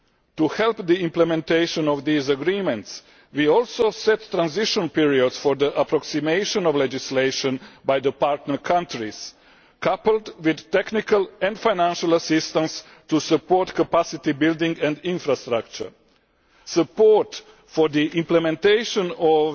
To help the implementation of these agreements, we also set transition periods for the approximation of legislation by the partner countries, coupled with technical and financial assistance to support capacity building and infrastructure. Support for the implementation